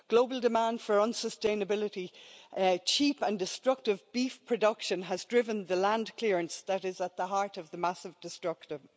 Global demand for unsustainability, cheap and destructive beef production has driven the land clearance that is at the heart of the massive destruction.